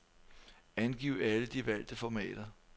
Angiv alle de valgte formater.